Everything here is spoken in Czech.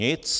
Nic.